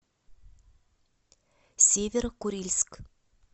северо курильск